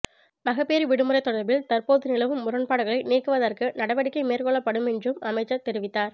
மகப்பேற்று விடுமுறை தொடர்பில் தற்போது நிலவும் முரண்பாடுகளை நீக்குவதற்கு நடவடிக்கை மேற்கொள்ளப்படுமென்றும் அமைச்சர் தெரிவித்தார்